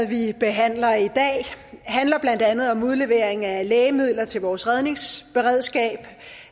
vi behandler i dag handler blandt andet om udlevering af lægemidler til vores redningsberedskab